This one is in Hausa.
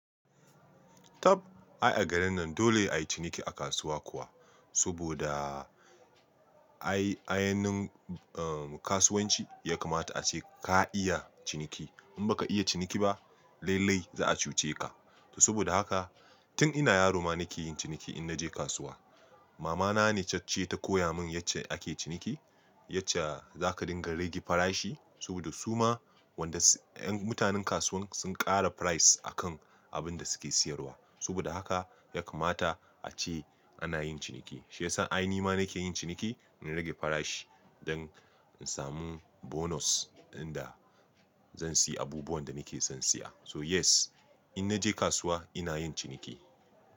Tab ai a garin nan dole a yi ciniki a kasuwa kuwa. Saboda ai ainin kasuwanci ya kamata ace ka iya ciniki. In baka iya ciniki ba, lailai za a cuce ka. To saboda haka tun ina yaro ma nake yin ciniki in naje kasuwa. Mama na ne cacce ta koya mun yace ake ciniki, yace zaka dinga rage farashi saboda su ma wanda mutanen kasuwan sun ƙara price a kan abun da suke siyarwa. Saboda haka ya kamata ace ana yin ciniki. Shi yasa ai ni ma nake yin ciniki, in rage farashi don in samu bonus inda zan siyi abubuwan da nake son siya. So yes, in naje kasuwa ina yin ciniki.